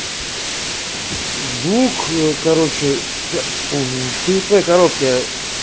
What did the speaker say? звук короче в черепной коробке